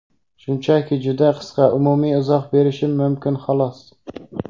Shunchaki juda qisqa umumiy izoh berishim mumkin xolos.